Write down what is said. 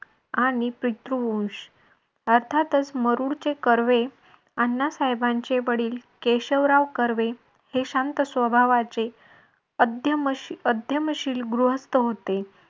आणि पितृवंश अर्थातच मरुड चे कर्वे आण्णा साहेबांचे वडील केशवराव कर्वे हे शांत स्वभावाचे अध्यमशील गृहस्थ होते